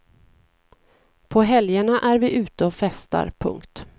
På helgerna är vi ute och festar. punkt